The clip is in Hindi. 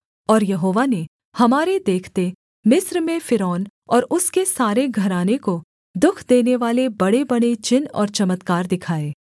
और यहोवा ने हमारे देखते मिस्र में फ़िरौन और उसके सारे घराने को दुःख देनेवाले बड़ेबड़े चिन्ह और चमत्कार दिखाए